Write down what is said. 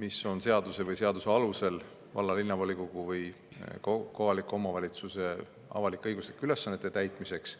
Maks on seadusega või seaduse alusel valla‑ või linnavolikogu riigi või kohaliku omavalitsuse avalik-õiguslike ülesannete täitmiseks